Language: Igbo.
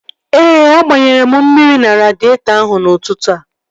Ee, a gbanyere m mmiri na radịetọ ahụ n'ụtụtụ a